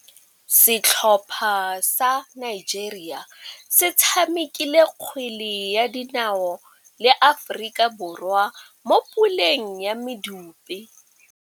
Setlhopha sa Nigeria se tshamekile kgwele ya dinaô le Aforika Borwa mo puleng ya medupe.